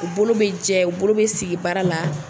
U bolo bɛ jɛ u bolo bɛ sigi baara la.